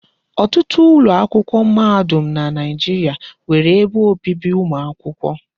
Ọtụtụ ụlọakwụkwọ mahadum na Naijiria nwere ebe obibi ụmụ akwụkwọ.